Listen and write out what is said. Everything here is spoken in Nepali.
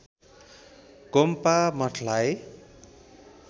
गोम्पा मठलाई